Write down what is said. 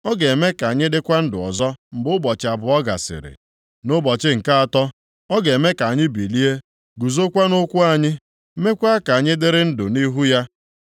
Ọ ga-eme ka anyị dịkwa ndụ ọzọ mgbe ụbọchị abụọ gasịrị. Nʼụbọchị nke atọ, ọ ga-eme ka anyị bilie guzokwa nʼụkwụ anyị, meekwa ka anyị dịrị ndụ nʼihu ya.